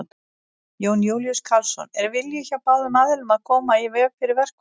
Jón Júlíus Karlsson: Er vilji hjá báðum aðilum að koma í veg fyrir verkfall?